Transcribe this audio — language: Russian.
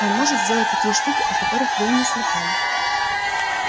он может сделать такие штуки о которых вы и не слыхали